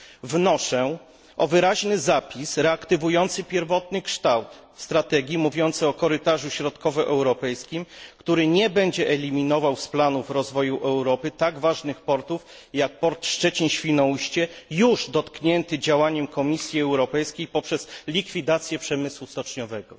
Wnoszę o wyraźny zapis reaktywujący pierwotny kształt strategii, mówiący o korytarzu środkowoeuropejskim, który nie będzie eliminował z planów rozwoju Europy tak ważnych portów jak port Szczecin Świnoujście, już dotknięty działaniem Komisji Europejskiej poprzez likwidację przemysłu stoczniowego.